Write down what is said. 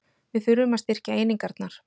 Við þurfum að styrkja einingarnar